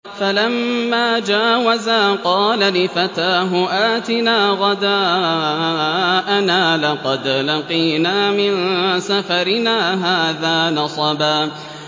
فَلَمَّا جَاوَزَا قَالَ لِفَتَاهُ آتِنَا غَدَاءَنَا لَقَدْ لَقِينَا مِن سَفَرِنَا هَٰذَا نَصَبًا